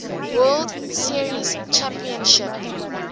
world series championship